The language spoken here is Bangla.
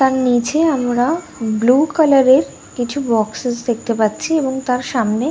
তার নীচে আমরা ব্লু কালার -এর কিছু বক্সেস দেখতে পাচ্ছি এবং তার সামনে--